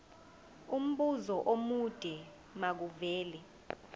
umbuzo omude makuvele